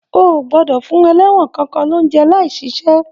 O o gbọdọ fún ẹlẹwọn kankan l'ounjẹ láì ṣiṣẹ!